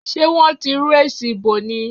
Sé wọ́n ti rú èsì ìbò ni?